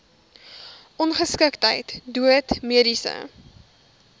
ongeskiktheid dood mediese